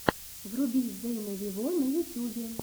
вруби зейна вево на ютюбе